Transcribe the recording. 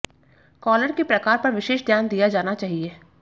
collar के प्रकार पर विशेष ध्यान दिया जाना चाहिए